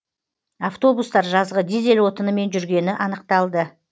автобустар жазғы дизель отынымен жүргені анықталды